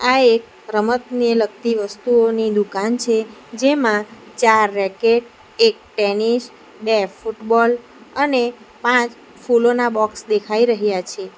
આ એક રમતનિય લગતી વસ્તુઓની દુકાન છે જેમાં ચાર રેકેટ એક ટેનિસ બે ફૂટબોલ અને પાંચ ફૂલોના બોક્સ દેખાઈ રહ્યા છે.